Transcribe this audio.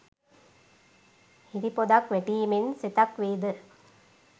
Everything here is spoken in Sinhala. හිරිපොදක් වැටීමෙන් සෙතක් වේද?